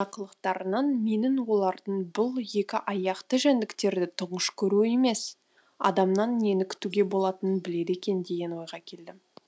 мына қылықтарынан мен олардың бұл екі аяқты жәндіктерді тұңғыш көруі емес адамнан нені күтуге болатынын біледі екен деген ойға келдім